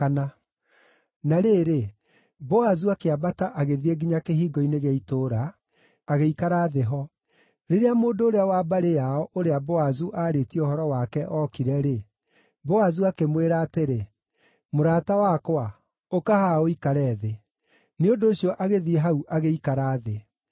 Na rĩrĩ, Boazu akĩambata agĩthiĩ nginya kĩhingo-inĩ gĩa itũũra, agĩikara thĩ ho. Rĩrĩa mũndũ ũrĩa wa mbarĩ yao, ũrĩa Boazu aarĩtie ũhoro wake ookire-rĩ, Boazu akĩmwĩra atĩrĩ, “Mũrata wakwa, ũka haha ũikare thĩ.” Nĩ ũndũ ũcio agĩthiĩ hau agĩikara thĩ.